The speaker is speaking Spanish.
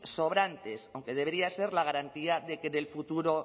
sobrantes aunque debería ser la garantía de que en el futuro